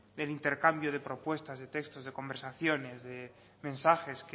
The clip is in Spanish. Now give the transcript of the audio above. del intercambio de propuestas de textos de conversaciones de mensajes